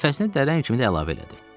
Nəfəsini dərin kimi də əlavə elədi.